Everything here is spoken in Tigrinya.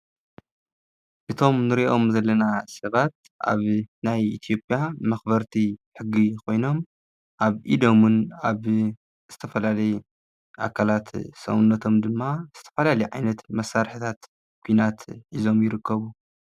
እቶም ንርእዮም ዘለና ሰባት ኣብ ናይ ኢትዮጵያ መክበርቲ ሕጊ ኮይኖም ኣብ ኢዶምን ኣብ ዝተፈላለየ ኣካላት ሰውነቶም ድማ ዝተፈላለዩ ዓይነት መሳርሕታት ኩናት ሒዞም ይርከቡ።